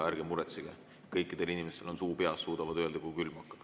Ärge muretsege, kõikidel inimestel on suu peas, suudavad öelda, kui külm hakkab.